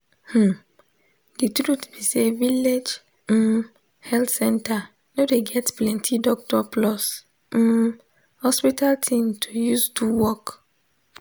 hmm de truth be say village um health center no dey get plenti doctor plus um hospital thing to use do work.